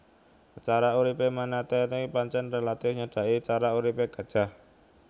Cara uripé manatee pancèn rélatif nyedhaki cara uripé gajah